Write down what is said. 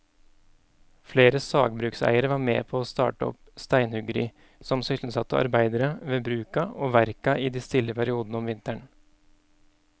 Flere sagbrukseiere var med å starte opp steinhuggeri som sysselsatte arbeidere ved bruka og verka i de stille periodene om vinteren.